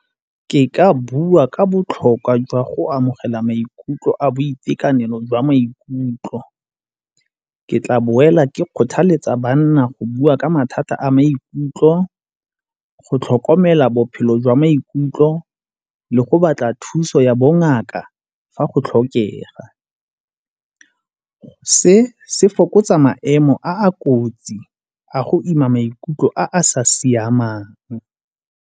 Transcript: Ke ka bua ka botlhokwa jwa go amogela maikutlo a boitekanelo jwa maikutlo. Ke tla boela ke kgothaletsa banna go bua ka mathata a maikutlo, go tlhokomela bophelo jwa maikutlo le go batla thuso ya bongaka fa go tlhokega. Se se fokotsa maemo a kotsi a go ima maikutlo a sa siamang.